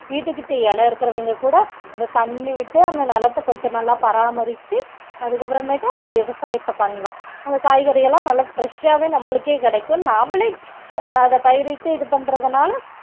வீட்டுக்கிட்ட இடம் இருக்கிறவங்க கூட அந்த தண்ணி விட்டு அந்த நிலத்த கொஞ்சம் நல்லா பராமரிச்சு அதுக்கு அப்புறமேட்டு அந்த விவசாயத்தை பண்ணலாம் அந்த காய்கறி எல்லாம் நல்லா fresh ஆவே நம்மளுக்கே கிடைக்கும் நாமளே அத பயிரிட்டு இது பண்றதுனால